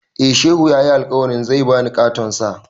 Eh, Shehu ya yi alkawarin zai ba ni ƙaton Sa.